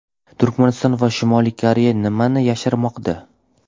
Turkmaniston va Shimoliy Koreya nimani yashirmoqda?.